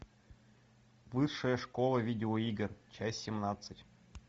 высшая школа видеоигр часть семнадцать